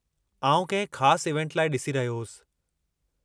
आउं कंहिं ख़ास इवेंट लाइ ॾिसी रहियो होसि।